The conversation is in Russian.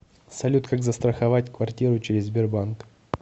салют как застроховать квартиру через сбербанк